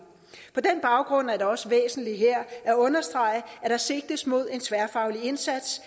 på den baggrund er det også væsentligt her at understrege at der sigtes mod en tværfaglig indsats